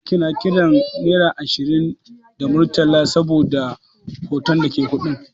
Hausawa suna kiran Naira ashirin da Murtala saboda hoton da ke kuɗin.